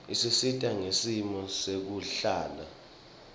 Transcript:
isisita ngesimo sekuhlala